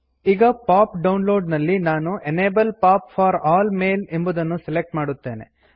ಈಗ pop download ನಲ್ಲಿ ನಾನು enable pop for all mail ಎಂಬುದನ್ನು ಸೆಲೆಕ್ಟ್ ಮಾಡುತ್ತೇನೆ